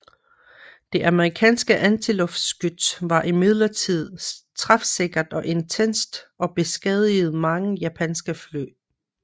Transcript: Det amerikanske antiluftskyts var imidlertid træfsikkert og intenst og beskadigede mange japanske fly